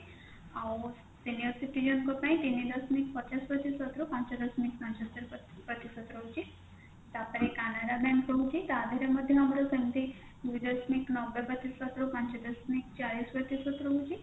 ଆଉ senior citizen ଙ୍କ ପାଇଁ ତିନି ଦଶମିକ ପଚାଶ ପ୍ରତିଶତ ରୁ ପାଞ୍ଚ ଦଶମିକ ପାଞ୍ଚ ପ୍ରତିଶତ ରହୁଛି ତାପରେ canada bank ରହୁଛି ତାଧେରେ ମଧ୍ୟ ସେମିତି ଦୁଇ ଦଶମିକ ନବେ ପ୍ରତିଶତ ରୁ ପାଞ୍ଚ ଦଶମିକ ଚାରି ପ୍ରତିଶତ ରହୁଛି